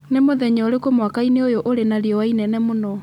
Nĩ mũthenya ũrĩkũ mwaka-inĩ ũyũ ũrĩ na riũa inene mũno